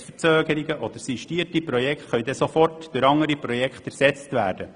Projektverzögerungen oder sistierte Projekte können dann sofort durch andere Projekte ersetzt werden.